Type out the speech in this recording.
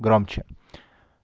громче